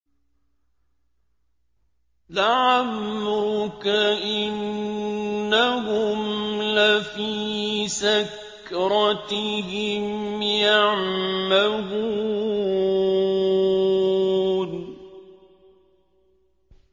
لَعَمْرُكَ إِنَّهُمْ لَفِي سَكْرَتِهِمْ يَعْمَهُونَ